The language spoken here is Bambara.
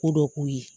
Ko dɔ k'u ye